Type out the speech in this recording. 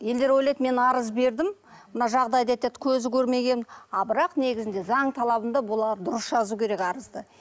елдер ойлайды мен арыз бердім мына жағдайды айтады көзі көрмеген ал бірақ негізінде заң талабында бұлар дұрыс жазу керек арызды